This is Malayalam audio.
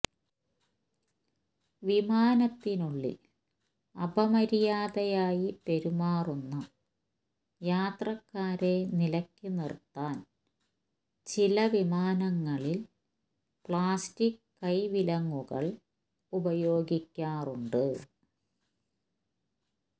വിമാനത്തിനുള്ളിൽ അപമര്യാദയായി പെരുമാറുന്ന യാത്രക്കാരെ നിലയ്ക്ക് നിർത്താൻ ചില വിമാനങ്ങളിൽ പ്ലാസ്റ്റിക് കൈവിലങ്ങുകൾ ഉപയോഗിക്കാറുണ്ട്